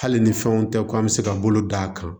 Hali ni fɛnw tɛ ko an bɛ se ka bolo d'a kan